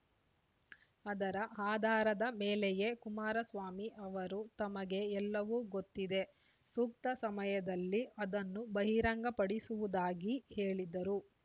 ಅದರ ಆಧಾರದ ಮೇಲೆಯೇ ಕುಮಾರಸ್ವಾಮಿ ಅವರು ತಮಗೆ ಎಲ್ಲವೂ ಗೊತ್ತಿದೆ ಸೂಕ್ತ ಸಮಯದಲ್ಲಿ ಅದನ್ನು ಬಹಿರಂಗಪಡಿಸುವುದಾಗಿ ಹೇಳಿದರು